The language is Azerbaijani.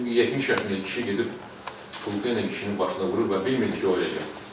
Çünki 70 yaşında kişi gedib pankla kişinin başına vurub və bilmirdi ki, o öləcək.